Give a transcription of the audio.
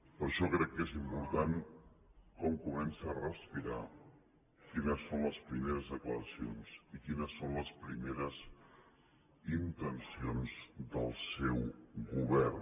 per això crec que és important com comença a respirar quines són les primeres declaracions i quines són les primeres intencions del seu govern